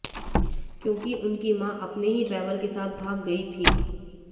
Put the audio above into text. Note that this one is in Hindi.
क्योंकि उनकी मां अपने ही ड्राइवर के साथ भाग गई थी